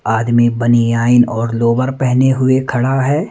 आदमी बनियाइन और लोवर पेहने हुए खड़ा है।